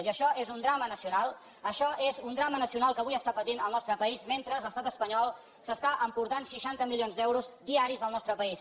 i això és un drama nacional això és una drama nacional que avui està patint el nostre país mentre l’estat espanyol s’està emportant seixanta milions d’euros diaris del nostre país